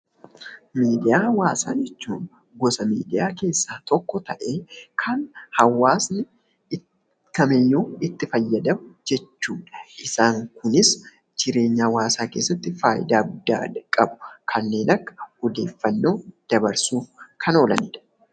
Miidiyaa hawwaasaa jechuun gosa miidiyaa keessaa tokko ya'ee kan hawwasni kamiyyuu itti fayyadamuu danda'u jechuu dha. Isaan kunis jireenya hawwaasaa keessatti faayidaa guddaa kan qabu kanneen Akka odeeffannoo dabarsuuf kan oolanii dha.